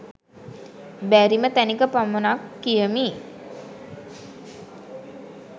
බැරිම තැනක පමණක් කියමි